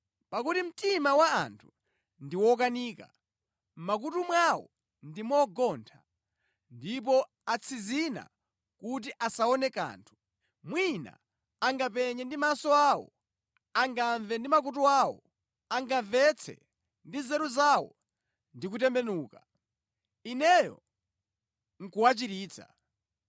Pakuti mtima wa anthu ndi wokanika; mʼmakutu mwawo ndi mogontha, ndipo atsinzina kuti asaone kanthu. Mwina angapenye ndi maso awo, angamve ndi makutu awo, angamvetse ndi nzeru zawo ndi kutembenuka, Ineyo nʼkuwachiritsa.